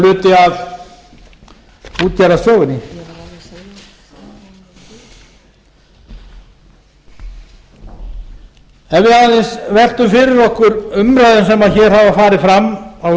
stór hluti af útgerðarsögunni ef við aðeins veltum fyrir okkur umræðum sem hér hafa farið fram á